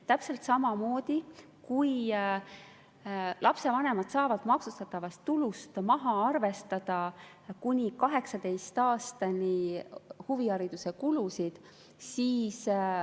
Ja lapsevanemad saavad maksustatavast tulust maha arvestada kuni 18. eluaastani huvihariduse kulusid.